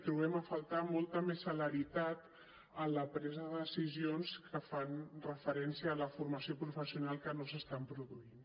trobem a faltar molta més celeritat en la presa de decisions que fan referència a la formació professional que no s’estan produint